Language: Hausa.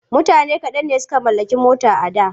Mutane kaɗan ne suka mallaki mota a da.